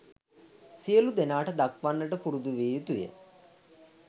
සියලු දෙනාට දක්වන්නට පුරුදු විය යුතුය.